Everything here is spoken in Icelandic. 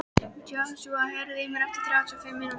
Joshua, heyrðu í mér eftir þrjátíu og fimm mínútur.